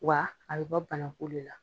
Wa a bɛ bɔ banakun le la.